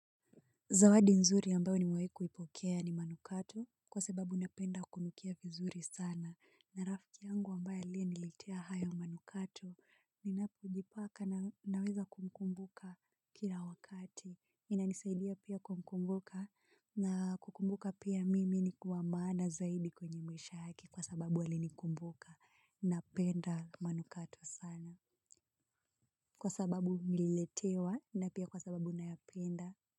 Zawadi nzuri ambayo nimewai kuipokea ni manukato kwa sababu napenda kunukia vizuri sana. Na rafki yangu ambaye aliyenilitea hayo manukato ninapo jipaka na naweza kumkumbuka kila wakati. Inanisaidia pia kumkumbuka na kukumbuka pia mimi niko wa maana zaidi kwenye mwisha yake kwa sababu alinikumbuka. Napenda manukato sana kwa sababu nililetewa na pia kwa sababu nayapenda.